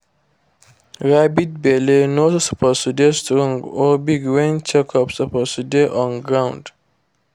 rabbit belle no suppose dey strong or big when check up suppose dey on ground